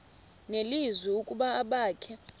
nelizwi ukuba abakhe